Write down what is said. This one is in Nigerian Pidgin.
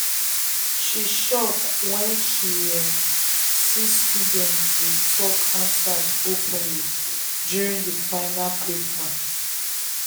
she shock when she um see students dey um talk answers openly during the final paper.